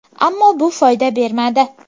Ammo bu foyda bermadi.